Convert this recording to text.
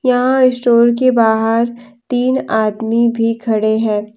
यहां स्टोर के बाहर तीन आदमी भी खड़े हैं।